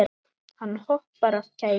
Hann hoppar af kæti.